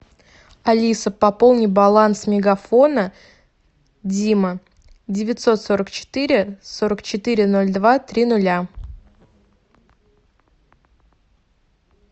алиса пополни баланс мегафона дима девятьсот сорок четыре сорок четыре ноль два три нуля